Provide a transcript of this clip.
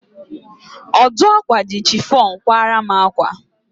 Ọdụ ákwà ji chifọn kwara m ákwà.